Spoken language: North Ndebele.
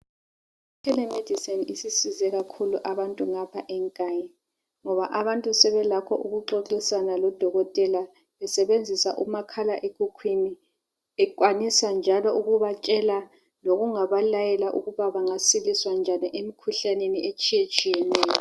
i telemedicine isisize kakhulu abantu ngapha eNkayi ngoba abantu sebelakho ukuxoxisana lo dokotela besebenzisa umakhala ekhukhwini ekwanisa njalo ukubatshela lokungaba layela ukuba bangasiliswa njani emikhuhlaneni etshiyetshiyeneyo